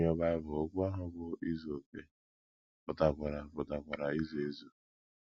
N’ime Bible, okwu ahụ bụ́ “ izu okè ” pụtakwara pụtakwara izu ezu.